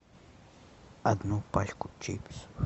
одну пачку чипсов